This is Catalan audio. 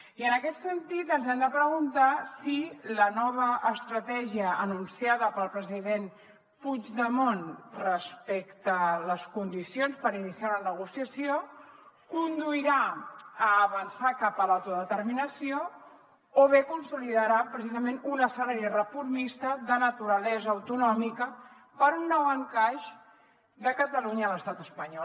i en aquest sentit ens hem de preguntar si la nova estratègia anunciada pel president puigdemont respecte a les condicions per iniciar una negociació conduirà a avançar cap a l’autodeterminació o bé consolidarà precisament un escenari reformista de naturalesa autonòmica per un nou encaix de catalunya a l’estat espanyol